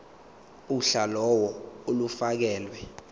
uhla lawo olufakelwe